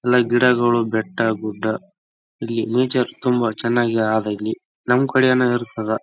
ನಾವು ಮಕ್ಕಳನ್ನು ಕರ್ಕೊಂಡು ಇಂಡಿಪೆಂಡೆನ್ಸ್ ಡೇ ಗೆ ಕರ್ನಾಟಕ್ ರಾಜ್ಯೋತಸವ ದಿನ ಅವೆಲ್ಲ ನಾವ್ ಹೊ ಹೋಗ್ತಾಇರ್ತೇವಿ ಪೊಲೀಸ್ ಪರೇಡ್ ನೋಡಕ್ಕೆ. ಪರೇಡ್ ನೋಡಕ್ಕೆ ತುಂಬಾ ಅದ್ಭುತವಾಗಿ ಇರುತ್ತೆ.